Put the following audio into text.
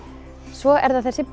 svo er það þessi